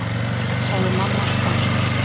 sagði mamma sposk.